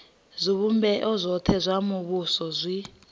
zwivhumbeo zwothe zwa muvhuso zwi